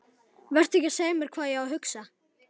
Vertu ekki að segja mér hvað ég á að hugsa!